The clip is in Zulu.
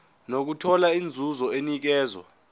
nokuthola inzuzo enikezwa